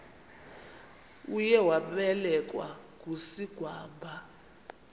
uye wabelekwa ngusigwamba